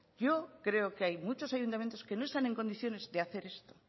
yo creo que hay muchos ayuntamientos que no están en condiciones de hacer esto